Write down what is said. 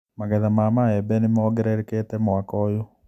Magetha ma maembe nĩmongererekete mwaka ũyũ.